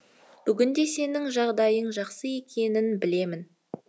бүгінде сенің жағдайың жақсы екенін білемін